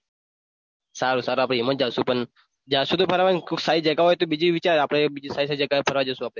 સારું સારું ભાઈ એમાં જાસુ પણ જાસુ તો ફરવા કોક સારી જગા હોય તો બીજું વિચાર આપણે બીજી સારી સારી જગાએ ફરવા જસુ આપણે.